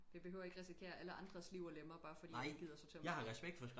Vi behøver ikke risikere alle andres liv og lemmer bare fordi vi ikke gider sortere